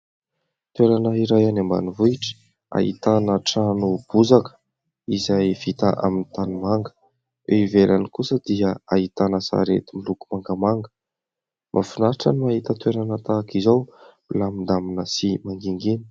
Toerana iray any ambanivohitra ahitana trano bozaka izay vita amin'ny tanimanga. Eo ivelany kosa dia ahitana sarety miloko mangamanga. Mahafinaritra ny mahita toerana tahaka izao, milamindamina sy mangingina.